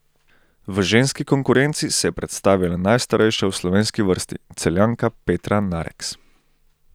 V ženski konkurenci se je predstavila najstarejša v slovenski vrsti, Celjanka Petra Nareks.